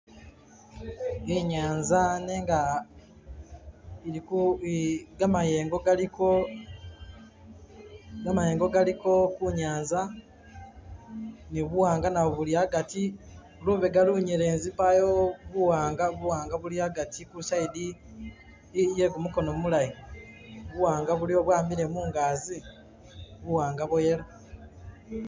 Inyanza nenga iliko, gamayengo galiko gamayengo galiko kunyanza ni buwanga nabo buli hagati lubega lunyelezi payo buwanga buwanga buli hagati ku'side iye gumukono mulayi buwanga buliwo bwamile mungazi, buwanga bwo yellow.